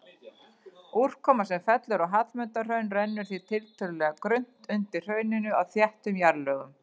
Úrkoma sem fellur á Hallmundarhraun rennur því tiltölulega grunnt undir hrauninu á þéttum jarðlögum.